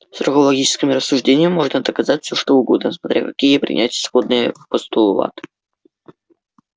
строго логическим рассуждением можно доказать все что угодно смотря какие принять исходные постулаты